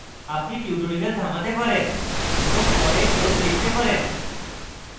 আপনি tutorial থামাতে পারেন এবং পরে code লিখতে পারেন